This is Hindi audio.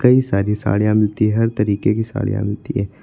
कई सारी साड़ियां मिलती हैं हर तरीके की साड़ियां मिलती हैं।